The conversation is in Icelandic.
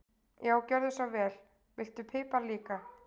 Já, gjörðu svo vel. Viltu pipar líka?